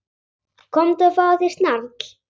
Komdu og fáðu þér snarl.